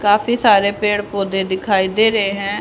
काफी सारे पेड़ पौधे दिखाई दे रहे है।